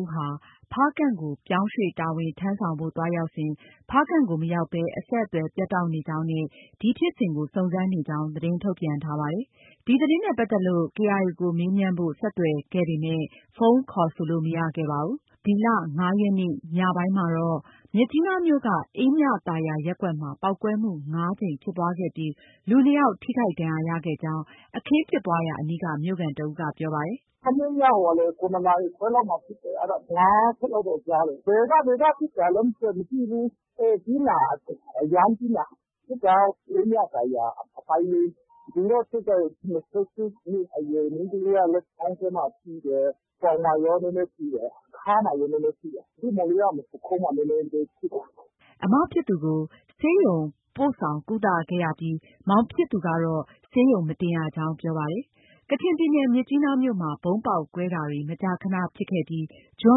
ဦးဟာ ဖားကန့်ကို ပြောင်းရွှေ့တာဝန်ထမ်းဆောင်ဖို့ သွားရောက်စဉ် ဖားကန့်ကို မရောက်ဘဲ အဆက်အသွယ် ပြတ်တောက်နေကြောင်းနဲ့ ဒီဖြစ်စဉ်ကို စုံစမ်းနေကြောင်း သတင်း ထုတ်ပြန်ထားပါတယ်။ ဒီသတင်းနဲ့ပတ်သက်ပြီး KIO ကို မေးမြန်းဖို့ ဆက်သွယ်ခဲ့ပေမဲ့ ဖုန်းခေါ်ဆိုလို့ မရခဲ့ပါဘူး။ ဒီလ ၅ရက်နေ့ ညပိုင်းမှာတော့ မြစ်ကြီးနားမြို့က အေးမြသာယာရပ်ကွက်မှာ ပေါက်ကွဲမှု ၅ကြိမ်ဖြစ်ပွားခဲ့ပြီး လူ ၂ယောက် ထိခိုက်ဒဏ်ရာ ရခဲ့ကြောင်း အခင်းဖြစ်ပွားရာအနီးက မြို့ခံတစ်ဦးက ပြောပါတယ်။ “ မနေ့ညက ၇နာရီခွဲလောက်မှာ ဖြစ်တယ်။ အဲဒါ ၅ချက်လောက်တော့ ကြားတယ်။ ဘယ်က ဘယ်က ပစ်တာလဲ မသိဘူး။ အေး ပြင်းတာ အရမ်းပြင်းတာ။ ဖြစ်တာက အေးမြသာယာ အပိုင်း ၄။ လူတော့ ထိခိုက်တယ်။ ၂၈နှစ်အရွယ် မိန်းကလေးက လက်မောင်းထဲမှာ ထိတယ်။ ပေါင်မှာရော နည်းနည်းထိတယ်။ ခါးမှာရော နည်းနည်းထိတယ်။ သူ့မောင်လေးကပုခုံးမှာ နည်းနည်းပဲ ထိတယ်။” အမဖြစ်သူကို ဆေးရုံပို့ဆောင်ကုသခဲ့ရပြီး မောင်ဖြစ်သူကတော့ ဆေးရုံမတင်ရကြောင်း ပြောပါတယ်။ ကချင်ပြည်နယ် မြစ်ကြီးနားမြို့မှာ ဗုံးပေါက်ကွဲတာတွေ မကြာခနဖြစ်ခဲ့ပြီး ဇွန်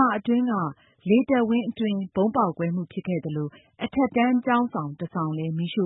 လအတွင်းက လေတပ်ဝင်းအတွင်း ဗုံးပေါက်ကွဲမှုဖြစ်ခဲ့သလို အထက်တန်းကျောင်းဆောင် တစ်ဆောင်လည်း မီးရှ